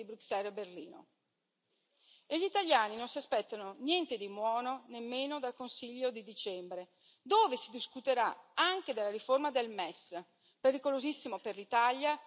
E gli italiani non si aspettano niente di buono nemmeno dal Consiglio di dicembre, dove si discuterà anche della riforma del MES, pericolosissimo per l'Italia e per tutti i cittadini europei.